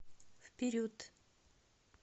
вперед